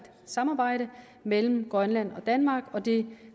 samarbejde mellem grønland og danmark og det